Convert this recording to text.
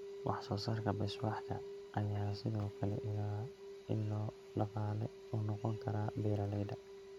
Wax-soo-saarka Beeswax-ka ayaa sidoo kale ilo dhaqaale u noqon kara beeralayda.